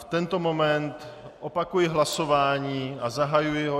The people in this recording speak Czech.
V tento moment opakuji hlasování a zahajuji ho.